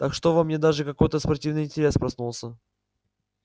так что во мне даже какой-то спортивный интерес проснулся